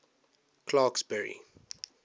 clarksburry